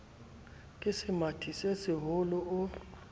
ke semathi se seholo o